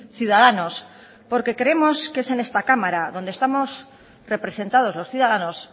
ciudadanos porque creemos que es en esta cámara donde estamos representados los ciudadanos